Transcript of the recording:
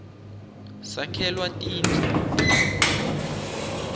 sakhelwa tindu